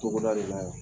Togoda de la yan